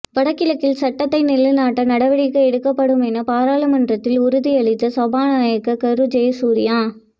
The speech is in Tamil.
வடக்கில் சட்டத்தை நிலைநாட்ட நடவடிக்கை எடுக்கப்படும் என பாராளுமன்றத்தில் உறுதியளித்த சபாநாயகர் கரு ஜயசூரிய